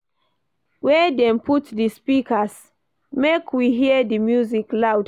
Where dem put di speakers, make we hear di music loud?